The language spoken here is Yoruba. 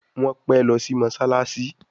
Wón pè ló sì mosalasi.